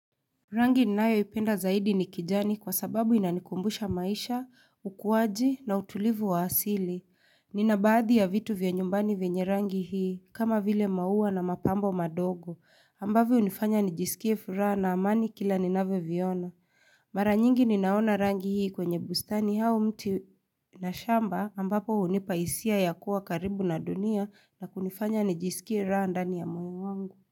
Rangi ninayoipenda zaidi ni kijani kwa sababu inanikumbusha maisha, ukuaji na utulivu wa asili. Nina baadhi ya vitu vya nyumbani vyenye rangi hii kama vile maua na mapambo madogo. Ambavyo hunifanya nijisikie furaha na amani kila ninavyoviona. Mara nyingi ninaona rangi hii kwenye bustani au mti na shamba ambapo hunipa hisia ya kuwa karibu na dunia na kunifanya nijisikie raha ndani ya moyo wangu.